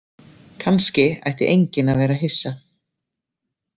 Kannski ætti enginn að vera hissa.